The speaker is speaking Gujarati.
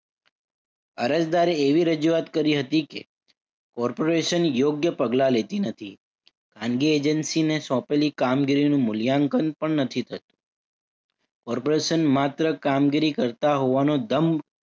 અરજદારે એવી રજુઆત કરી હતી કે corporation યોગ્ય પગલાં લેતી નથી. અન્ય agency ને સોંપેલી કામગીરીનું મૂલ્યાંકન પણ નથી થતું. Corporation માત્ર કામગીરી કરતા હોવાનો દંભ